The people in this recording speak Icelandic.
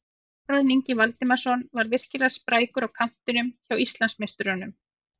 Þórarinn Ingi Valdimarsson var virkilega sprækur á kantinum hjá Íslandsmeisturunum.